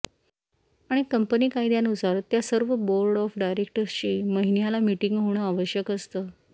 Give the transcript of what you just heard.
आणि कंपनी कायद्यानुसार त्या सर्व बोर्ड ऑफ डायरेक्टर्सची महिन्याला मीटिंग होणं आवश्यक असतं